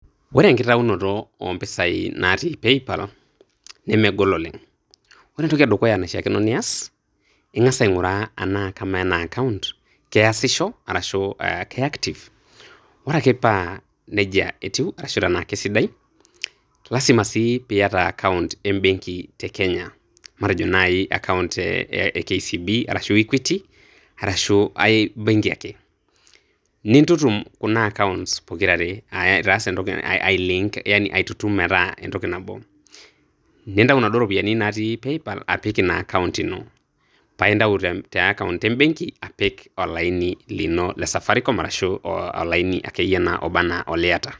Ore enkitaunoto oo mpisai naati Paypal nemegol oleng'. Ore entoki e dukuya naishaakino nias, ing'as aing'uraa anaa kamaa ena akaont keasisho arashu ke active? Ore ake paa neija etiu anaa keisidai. Lazima sii pii iata account embeng'i te Kenya, matejo naaji akaont e KCB arashu Equity ashu aibeng'i ake, niintutum kuna accounts are ai link aitutum metaa akaont nabo, nintayu naduo ropiyani natii Paypal aitayu apik akaont ino. paa intayu te akaont embeng'i apik olaini lino le Safaricom arashu olaini ake iyie naa oba ana oliata.